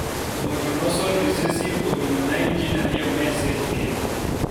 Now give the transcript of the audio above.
autonosal reccesive omino nine jin ariyo me e sel iketho